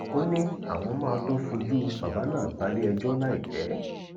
ó ní àwọn máa tóó fojú bàbá náà balẹẹjọ láìpẹ